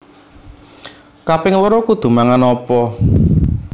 Kaping loro kudu mangan opo